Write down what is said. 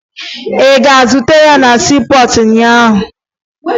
Ị gara zute ya na siipọọtụ ụnyaahụ?